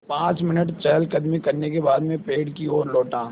पाँच मिनट चहलकदमी करने के बाद मैं पेड़ की ओर लौटा